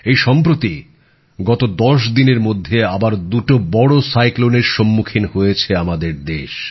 এই সম্প্রতি গত দশ দিনের মধ্যে আবার দুটো বড় ঘূর্ণিঝড়ের সম্মুখীন হয়েছে আমাদের দেশ